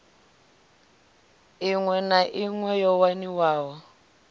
iṋwe na iṋwe yo waniwaho